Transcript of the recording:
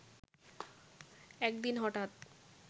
একদিন হঠাৎ